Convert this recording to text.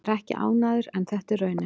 Ég er ekki ánægður en þetta er raunin.